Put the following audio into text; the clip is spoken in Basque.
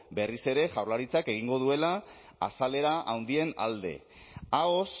berriz ere jaurlaritzak egingo duela azalera handien alde ahoz